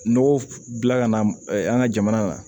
Nɔgɔ bila ka na an ka jamana na